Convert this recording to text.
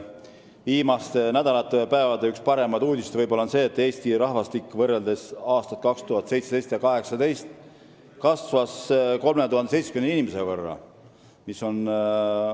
Viimaste nädalate üks paremaid uudiseid on see, et Eesti rahvaarv on 2018. aasta alguse seisuga 3070 inimese võrra suurem kui aasta varem samal ajal.